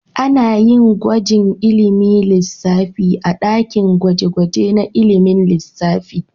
Ana yin gwajin ilimin lissafi a dakin gwaje-gwaje na ilimin lissafi.